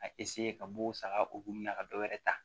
A ka b'o saga o hukumu na ka dɔ wɛrɛ ta